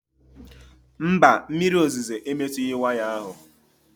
Mba, mmiri ozuzo emetughị waya ahụ